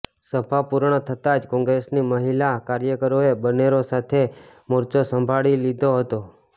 સભા પુર્ણ થતા જ કોંગ્રેસની મહિલા કાર્યકરોએ બનેરો સાથે મોરચો સંભાળી લીધો હતો